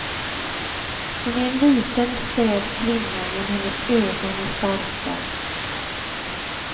Hon är en liten späd kvinna men hennes ögon är starka.